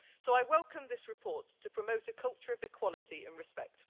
So I welcome this report to promote a culture of equality and respect.